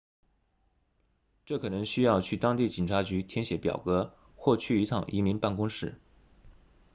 这可能需要去当地警察局填写表格或去一趟移民办公室